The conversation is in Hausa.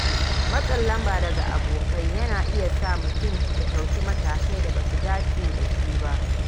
Matsin lamba daga abokai yana iya sa mutum ya dauki matakai da ba su dace da shi ba.